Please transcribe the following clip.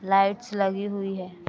Lights लगी हुई हैं।